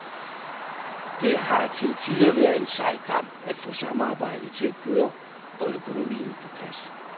Det har til tider været en sej kamp at få samarbejdet til at køre og økonomien på plads.